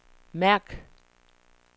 mærk